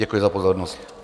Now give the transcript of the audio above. Děkuji za pozornost.